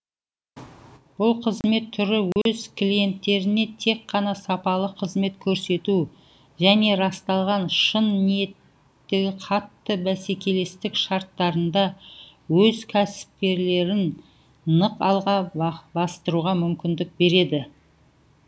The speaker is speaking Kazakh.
бұл қызмет түрі өз клиенттеріне тек қана сапалы қызмет көрсету және расталған шын ниеттігі қатты бәсекелестік шарттарында өз кәсіпкерліктерін нық алға бастыруға мүмкіндік береді